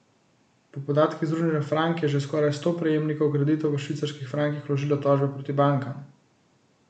Po podatkih Združenja Frank je že skoraj sto prejemnikov kreditov v švicarskih frankih vložilo tožbe proti bankam.